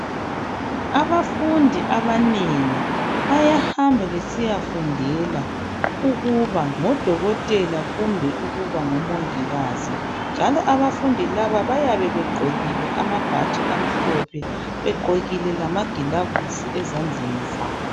Abafundi abanengi bayahamba besiyafundela ukuba ngodokotela kumbe ukuba ngomongikazi njalo abafundi laba bayabe begqokile amabhatshi amhlophe begqokile lamagilavusi ezandleni zabo.